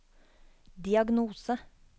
diagnose